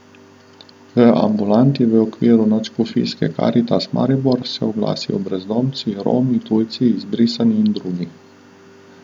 V ambulanti v okviru nadškofijske karitas Maribor se oglasijo brezdomci, Romi, tujci, izbrisani in drugi.